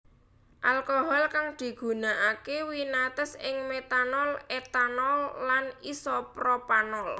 Alkohol kang digunakake winates ing metanol etanol lan isopropanol